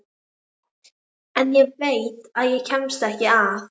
En ég veit að ég kemst ekki að.